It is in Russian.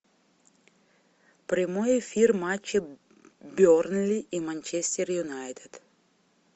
прямой эфир матча бернли и манчестер юнайтед